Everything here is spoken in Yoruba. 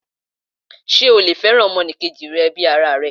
Sé o lè fẹ́ràn ọmọ enì kejì rẹ bi ara rẹ?